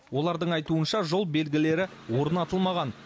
олардың айтуынша жол белгілері орнатылмаған